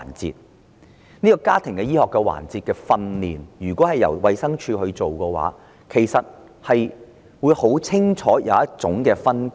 如果家庭醫學環節的訓練由衞生署負責，便會有清晰分工。